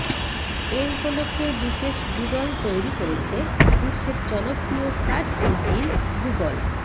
এ উপলক্ষে বিশেষ ডুডল তৈরি করেছে বিশ্বের জনপ্রিয় সার্চ ইঞ্জিন গুগল